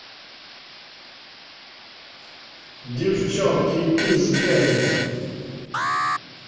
девчонки из дерри